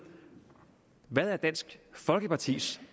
hvad der er dansk folkepartis